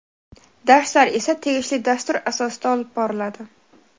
Darslar esa tegishli dastur asosida olib boriladi.